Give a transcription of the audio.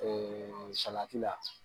salati la